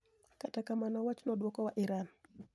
Kata kamano, wachno duoko wa Iran.